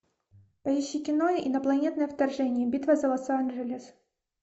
поищи кино инопланетное вторжение битва за лос анджелес